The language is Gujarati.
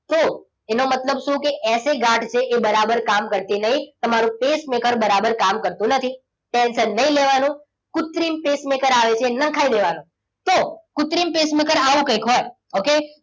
તો એનો મતલબ શું કે? એસે ગાંઠ છે એ બરાબર કામ કરતી નથી. મારું pacemaker બરાબર કામ કરતું નથી. tension નહીં લેવાનું. કુત્રિમ pacemaker આવે છે નખાઈ દેવાનું. તો કુત્રિમ pacemaker આવું કંઈક હોય. okay